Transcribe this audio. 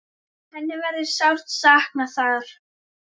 Hennar verður sárt saknað þar.